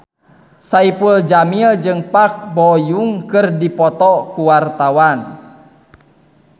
Saipul Jamil jeung Park Bo Yung keur dipoto ku wartawan